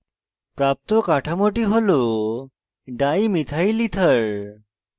প্রাপ্ত কাঠামোটি হল dimethyl ether